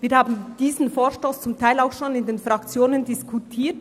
Wir haben diesen Vorstoss zum Teil schon in den Fraktionen diskutiert.